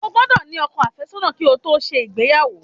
O gbódò ní ọkọ àfẹ́sọ́nà ki o to se ìgbéyàwó